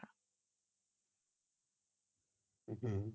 হম